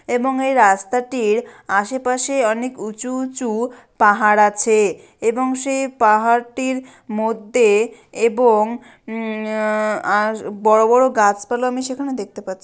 এবং এই রাস্তাটির আশেপাশে অনেক উঁচু উঁচু পাহাড় আছে এবং সে পাহাড় টির মধ্যে এবং উম আর বড়ো বড়ো গাছপালা আমি সেখানে দেখতে পাচ্ছি।